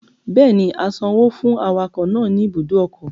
Bẹ́ẹ̀ni, a san owó fún awakọ̀ náà ní ibùdó ọkọ̀